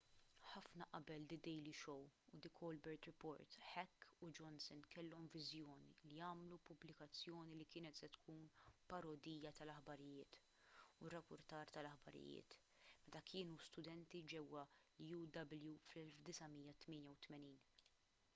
ħafna qabel the daily show u the colbert report heck u johnson kellhom viżjoni li jagħmlu pubblikazzjoni li kienet se tkun parodija tal-aħbarijiet-u r-rappurtar tal-aħbarijiet-meta kienu studenti ġewwa uw fl-1988